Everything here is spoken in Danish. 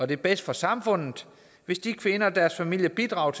det er bedst for samfundet hvis de kvinder og deres familier bidrager